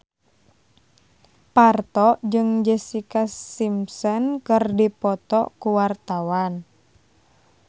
Parto jeung Jessica Simpson keur dipoto ku wartawan